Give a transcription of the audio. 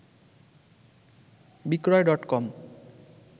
বিক্রয় ডটকম